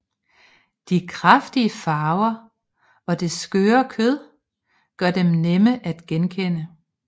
De kraftige farver og det skøre kød gør dem nemme at genkende